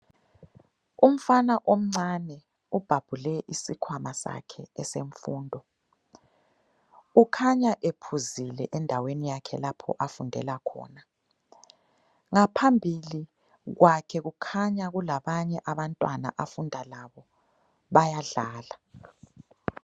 Umfana omncane ubhabhule isikhwama sakhe esemfundo. Ukhanya ephuzile endaweni yakhe lapho afundela khona, ngaphambili kwakhe kukhanya kulabanye abantwana afunda labo bayadlala.